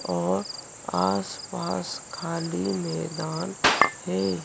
और आसपास खाली मैदान है।